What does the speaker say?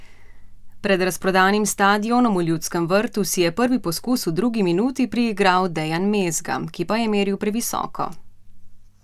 Pred razprodanim stadionom v Ljudskem vrtu si je prvi poskus v drugi minuti priigral Dejan Mezga, ki pa je meril previsoko.